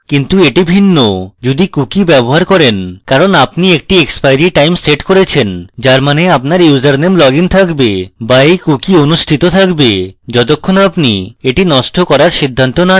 কিন্তু এটি ভিন্ন যদি cookie ব্যবহার করেন কারণ আপনি একটি এক্সপাইরী time set করেছেনযার means আপনার ইউসারনেম লগইন থাকবে be এই cookie অনুষ্ঠিত থাকবে যতক্ষণ আপনি এটি নষ্ট করার সিদ্ধান্ত না নেন